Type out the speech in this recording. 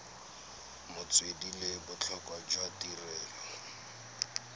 metswedi le botlhokwa jwa tirelo